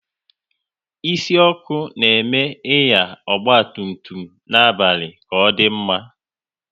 Isi ọkụ na eme Ịnya ọgba tum tum n'abalị ọ kadị mma